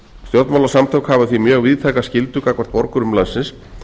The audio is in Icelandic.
stjórnmálasamtök hafa því mjög víðtækar skyldur gagnvart borgurum landsins